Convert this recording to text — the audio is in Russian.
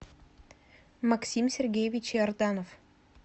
максим сергеевич иорданов